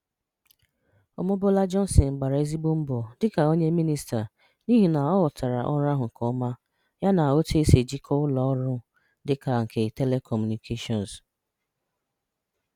Omobola Johnson gbara ezigbo mbọ dịka onye mịnịsta n’ihi na ọ ghọtara ọrụ ahụ nke ọma yana otu esi ejikwa ụlọ ọrụ dịka nke telekọmunikeshọn.